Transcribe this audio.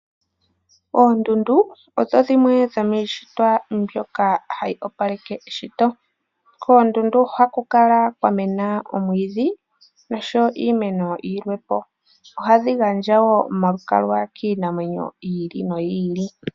Oondundu odho dhimwe dhomiishitwa mbyoka hayi opaleke eshito. Koondundu ohaku kala kwamena oomwiidhi nosho wo iimeno yilwe po. Ohadhi gandja wo omalukalwa kiinamwenyo yi ili noyi ili.